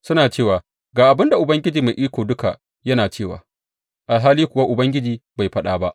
Suna cewa, Ga abin da Ubangiji Mai Iko Duka yana cewa’ alhali kuwa Ubangiji bai faɗa ba.